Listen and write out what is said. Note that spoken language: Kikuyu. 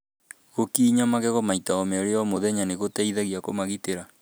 Gúkinya magego maita merĩ o mũthenya nĩ gũteithagia kũmagitĩra.